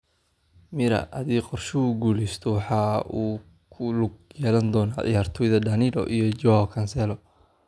(Mirror) Haddii qorshuhu guuleysto, waxa uu ku lug yeelan doonaa ciyaartoyda Danilo, iyo Joao Cancelo.